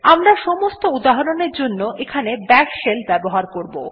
আমরা সমস্ত উদাহরণ এর জন্য এখানে বাশ শেল ব্যবহার করব